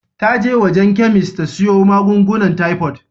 Ta je wajen chemist ta siyo magungunan typhoid.